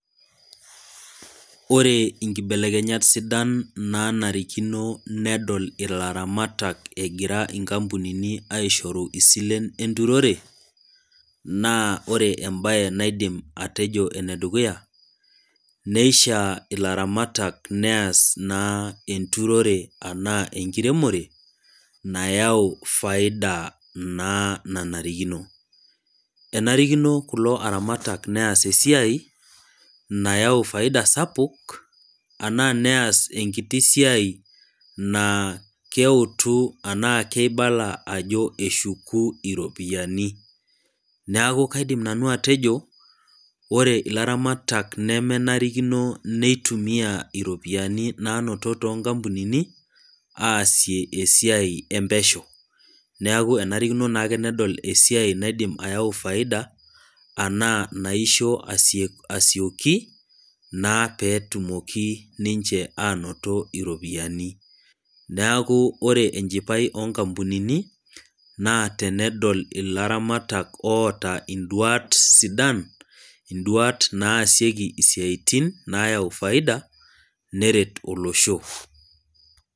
Ore nkibelekenyat sidan nanarikino nedol ilaramatak egira inkampunini aishoru isilen enturore naa ore embae naidim atejo enedukuya neishiaa ilaramatak neas naa enturore anaa enkiremore nayau faida naa nanarikino. Enarikino kulo aramatak neas esiai nayau faida sapuk anaa neas enkiti siai naa keutu anaa keibala ajo eshuku iropiyiani . Neeku kaidim nanu atejo ore ilaramatak nemenarikino neitumia iropiyiani nanoto too nkampunini aasie esiai empesho neeku enarikino naake nedol esiai naidim ayau faida anaa naisho asio asioki naa petumoki ninche anoto iropiyiani. Neaku ore enchipai onkampunini naa tenedol ilaramatak oota induat sidan , induat naasieki isiatin nayau faida neret olosho.